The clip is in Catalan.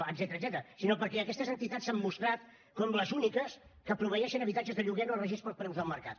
etcètera sinó perquè aquestes entitats s’han mostrat com les úniques que proveeixen habitatges de lloguer no regits pels preus del mercat